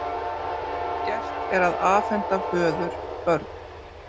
Gert að afhenda föður börn